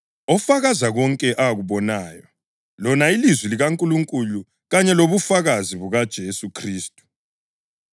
ofakaza konke akubonayo, lona ilizwi likaNkulunkulu kanye lobufakazi bukaJesu Khristu.